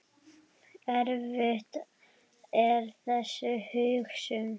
Erfið er þessi hugsun.